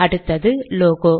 அடுத்தது லோகோ